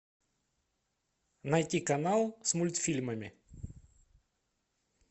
найти канал с мультфильмами